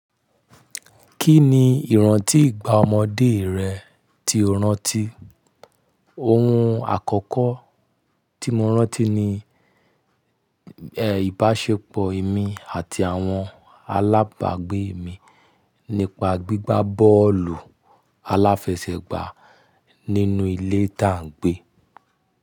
Kí ni ìrántí ìgbà ọmọdé rẹ tí o rántí? Ohun àkọ́kọ́ tí mo rántí ni, ìbáṣepọ̀ èmi àti àwọn alábagbé mi nípa gbígbá bọ́ọ̀lù aláfẹsẹ̀gbá nínú ilé tá ń gbé.